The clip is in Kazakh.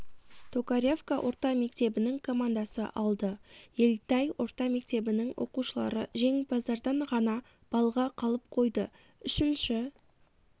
токаревка орта мектебінің командасы алды ельтай орта мектебінің оқушылары жеңімпаздардан ғана балға қалып қойды үшінші